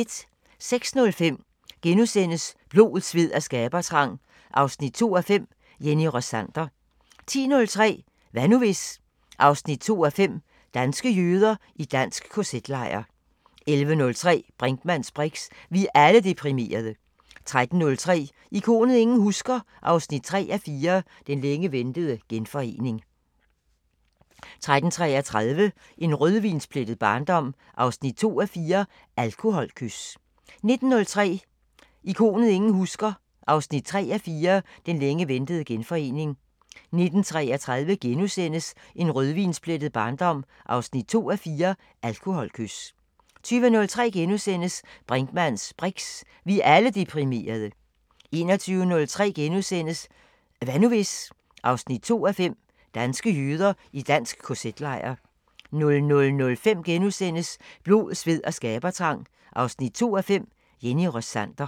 06:05: Blod, sved og skabertrang 2:5 – Jenny Rossander * 10:03: Hvad nu hvis...? 2:5 – Danske jøder i dansk KZ-lejr 11:03: Brinkmanns briks: Vi er alle deprimerede! 13:03: Ikonet ingen husker – 3:4 Den længe ventede genforening 13:33: En rødvinsplettet barndom 2:4 – Alkoholkys 19:03: Ikonet ingen husker – 3:4 Den længe ventede genforening 19:33: En rødvinsplettet barndom 2:4 – Alkoholkys * 20:03: Brinkmanns briks: Vi er alle deprimerede! * 21:03: Hvad nu hvis...? 2:5 – Danske jøder i dansk KZ-lejr * 00:05: Blod, sved og skabertrang 2:5 – Jenny Rossander *